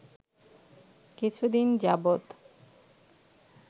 কিছুদিন যাবৎ